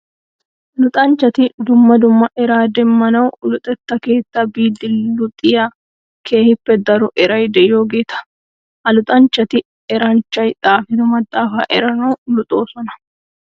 Luxanchchati dumma dumma eraa demmanawu luxxetta keetta biidi luxiya keehippe daro eray de'iyogeta. Ha luxanchchati eranchchay xaafido maxafa eranawu luxosona.